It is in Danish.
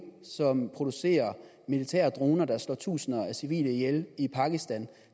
som producerer militære droner der slår tusinder af civile ihjel i pakistan